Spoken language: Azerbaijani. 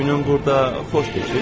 Günün burada xoş keçir.